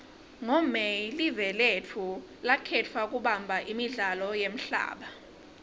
ngo may live lotfu lakhetfwa kubamba imidlalo yemhlaba